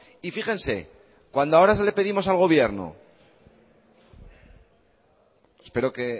y fíjense cuando ahora le pedimos al gobierno espero que